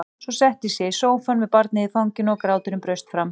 Svo settist ég í sófann með barnið í fanginu og gráturinn braust fram.